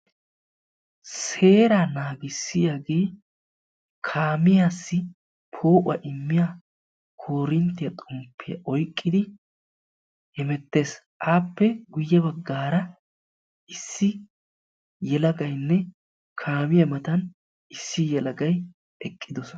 Seera naagissiyaagee kaamiyaassi poo'uwaa immiyaa koorinttiyaa xomppiyaa oyqqidi hemettees; appe guyye baggara issi yelagaynne kaamiyaa mata issi yelagay eqqidoosona.